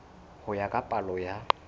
ho ya ka palo ya